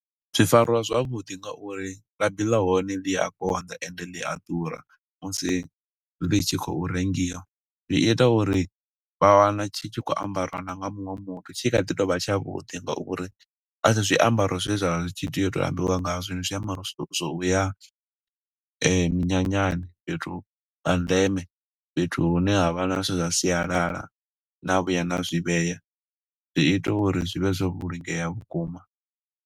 Zwi fariwa zwavhuḓi nga uri labi ḽa hone ḽi a konḓa, ende ḽi a ḓura, musi ḽi tshi khou rengiwa. Zwi ita uri vha wana tshi tshi khou ambariwa na nga muṅwe muthu, tshi kha ḓi tovha tshavhuḓi nga uri a si zwiambaro zwe zwa vha zwi tshi tea u tambiwa nga zwo. Ndi zwiambaro zwo uya minyanyani, fhethu ha ndeme, fhethu hune ha vha na zwithu zwa sialala, na vhuya na zwi vhea. Zwi ita uri zwi vhe zwo vhulungea vhukuma.